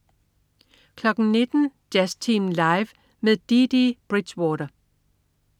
19.00 Jazztimen Live med Dee Dee Bridgewater